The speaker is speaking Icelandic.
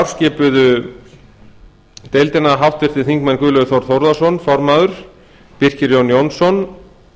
skipuðu íslandsdeildina háttvirtir þingmenn guðlaugur þór þórðarson formaður birkir jón jónsson